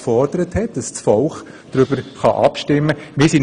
Sie forderte, dass das Volk hierüber abstimmen können sollte.